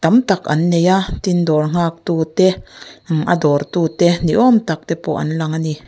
tam tak an nei a tin dawr nghak tu te im a dawr tute ni awm tak te pawh an lang ani.